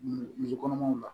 Muso kɔnɔmaw la